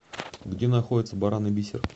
где находится баран и бисер